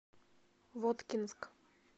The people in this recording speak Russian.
воткинск